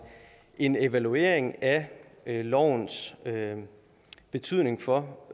en evaluering af lovens betydning for